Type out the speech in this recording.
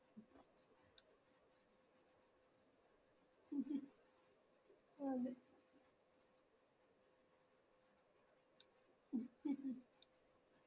അതെ